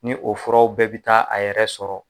Ni o furaw bɛɛ bɛ taa a yɛrɛ sɔrɔ